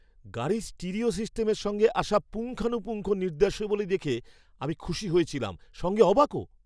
গাড়ির স্টিরিও সিস্টেমের সঙ্গে আসা পুঙ্খানুপুঙ্খ নির্দেশাবলী দেখে আমি খুশি হয়েছিলাম সঙ্গে অবাকও!